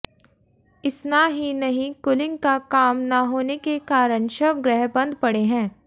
इसना ही नहीं कुलिंग का काम ना होने के कारण शवगृह बंद पड़े है